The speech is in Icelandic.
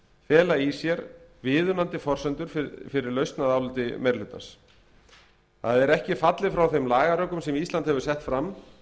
fela í sér viðunandi forsendur fyrir lausn að áliti meiri hlutans það er ekki er fallið frá þeim lagarökum sem ísland hefur sett fram